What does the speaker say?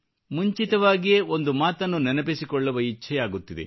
ಮುಂಚಿತವಾಗಿಯೇ ಒಂದು ಮಾತನ್ನು ನೆನಪಿಸಿಕೊಳ್ಳುವ ಇಚ್ಛೆಯಾಗುತ್ತಿದೆ